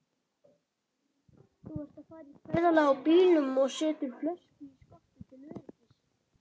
Þú ert að fara í ferðalag á bílnum og setur flösku í skottið til öryggis.